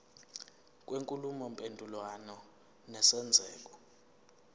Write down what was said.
kwenkulumo mpendulwano nesenzeko